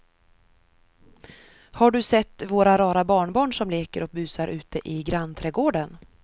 Har du sett våra rara barnbarn som leker och busar ute i grannträdgården!